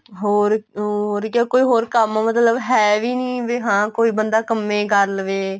ਹੋਰ ਉਹ ਉਰੇ ਕਿਆ ਕੋਈ ਕੰਮ ਮਤਲਬ ਹੈ ਵੀ ਨੀਂ ਵੀ ਕੋਈ ਬਣਦਾ ਕੰਮ ਏ ਕਰ ਲਵੇ